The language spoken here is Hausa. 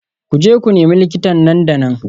Ku je ku nemi likita nan da nan